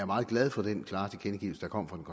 meget glad for den klare tilkendegivelse der kom fra den